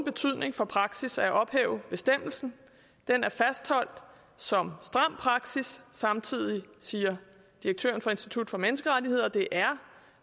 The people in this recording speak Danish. betydning for praksis at ophæve bestemmelsen den er fastholdt som stram praksis samtidig siger direktøren for institut for menneskerettigheder at det er